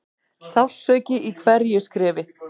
Sársauki í hverju skrefi.